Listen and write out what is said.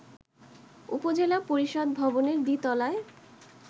উপজেলা পরিষদ ভবনের দ্বিতলায়